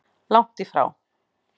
Langt í frá!